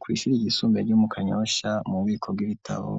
Kw’ishure ry’isumbeye ryo mukanyosha mu biko bw'ibitabo,